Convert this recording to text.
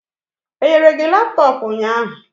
Enyere gi laptọọpụ ụnyahụ?